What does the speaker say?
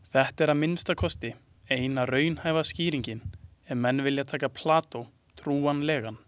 Þetta er að minnsta kosti eina raunhæfa skýringin ef menn vilja taka Plató trúanlegan.